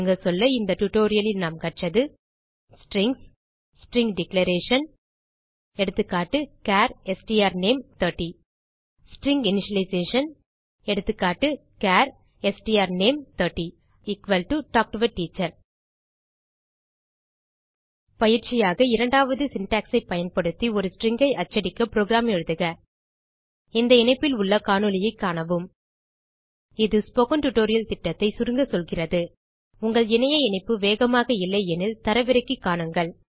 சுருங்க சொல்ல இந்த டியூட்டோரியல் லில் நாம் கற்றது ஸ்ட்ரிங்ஸ் ஸ்ட்ரிங் டிக்ளரேஷன் எகா சார் strname30 ஸ்ட்ரிங் இனிஷியலைசேஷன் எகா char strname30 talk to a teacher பயிற்சியாக இரண்டாவது சின்டாக்ஸ் ஐ பயன்படுத்தி ஒரு ஸ்ட்ரிங் ஐ அச்சடிக்க புரோகிராம் எழுதுக இந்த இணைப்பில் உள்ள காணொளியைக் காணவும் இது ஸ்போக்கன் டியூட்டோரியல் திட்டத்தைச் சுருங்க சொல்கிறது இணைப்பு வேகமாக இல்லை எனில் தரவிறக்கி காணுங்கள்